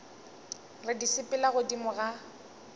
re di sepela godimo ga